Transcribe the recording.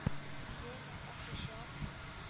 Ég fékk ekki sjokk.